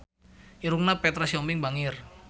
Irungna Petra Sihombing bangir